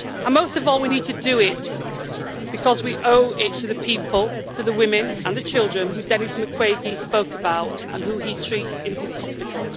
Most of all, we need to do it because we owe it to the people, to the women and the children whom Denis Mukwege spoke about and whom he treats in his hospital.